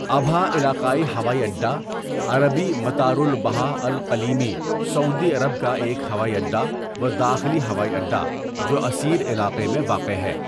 ابھا علاقائی ہوائی اڈا عربی مطار أبها الإقليمي سعودی عرب کا ایک ہوائی اڈا و داخلی ہوائی اڈا جو عسیر علاقہ میں واقع ہے.